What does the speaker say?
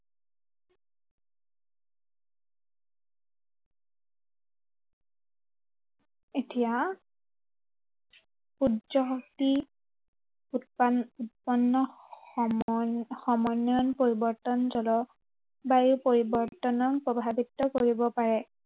এতিয়া সূৰ্য শক্তি, উৎপান্ন, উৎপন্ন সময় সমন্বয়ন পৰিৱৰ্তন, জল বায়ু পৰিৱৰ্তনত প্ৰভাৱিত কৰিব পাৰে।